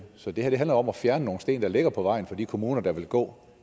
så det her handler om at fjerne nogle sten der ligger på vejen for de kommuner der vil gå